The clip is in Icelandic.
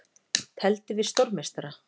Tefldi við stórmeistara